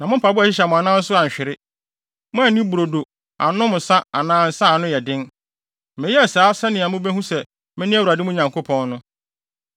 Moanni brodo, annom nsa anaa nsa a ano yɛ den. Meyɛɛ saa sɛnea mubehu sɛ mene Awurade, mo Nyankopɔn no.